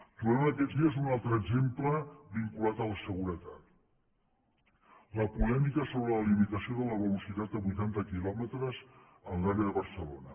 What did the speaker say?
trobem aquests dies un altre exemple vinculat a la seguretat la polèmica sobre la limitació de la velocitat a vuitanta quilòmetres en l’àrea de barcelona